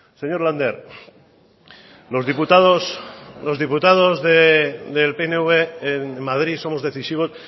señor lander los diputados los diputados del pnv en madrid somos decisivos